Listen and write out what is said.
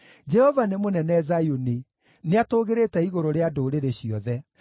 Jehova nĩ mũnene Zayuni; nĩatũũgĩrĩte igũrũ rĩa ndũrĩrĩ ciothe.